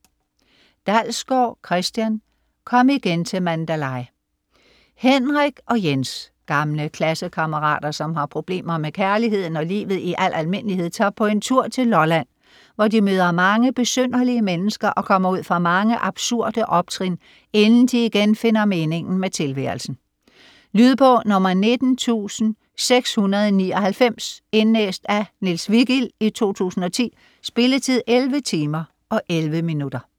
Dalsgaard, Christian: Kom igen til Mandalay Henrik og Jens, gamle klassekammerater, som har problemer med kærligheden og livet i al almindelighed, tager på en tur til Lolland, hvor de møder mange besynderlige mennesker og kommer ud for mange absurde optrin, inden de igen finder meningen med tilværelsen. Lydbog 19699 Indlæst af Niels Vigild, 2010. Spilletid: 11 timer, 11 minutter.